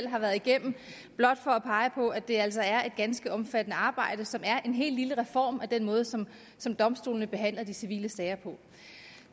har været igennem blot for at pege på at det altså er et ganske omfattende arbejde som er en hel lille reform af den måde som som domstolene behandler de civile sager på